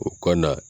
O ka na